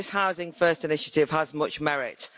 So this Housing First' initiative has much merit.